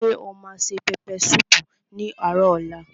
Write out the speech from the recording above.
Ṣé o ma se pẹpẹ súùpù ní àárò ọ̀la?